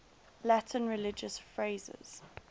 latin religious phrases